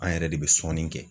An yɛrɛ de be sɔnni kɛ